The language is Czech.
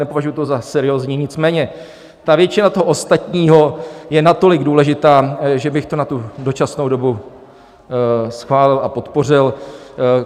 Nepovažuji to za seriózní, nicméně ta většina toho ostatního je natolik důležitá, že bych to na tu dočasnou dobu schválil a podpořil.